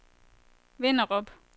Vinderup